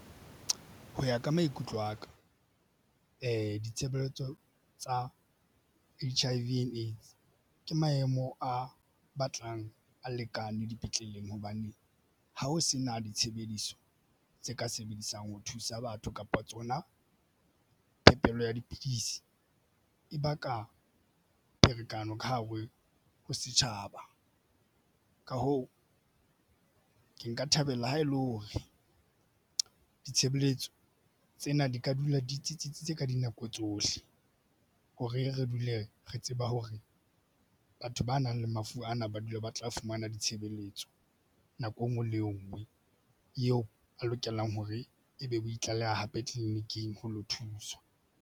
Ho ya ka maikutlo aka, ditshebeletso tsa H_I_V and AIDS ke maemo a batlang a lekane dipetleleng hobane ha ho se na ditshebediso tse ka sebediswang ho thusa batho kapa tsona. Phepelo ya dipidisi e baka pherekano ka hare ho setjhaba. Ka hoo, ke nka thabela ha e le hore ditshebeletso tsena di ka dula di tsitsitse tse ka dinako tsohle hore re dule re tseba hore batho ba nang le mafu ana ba dula ba tla fumana ditshebeletso nako engwe le ngwe eo a lokelang hore ebe o itlaleha hape tleliniking ho lo thuswa.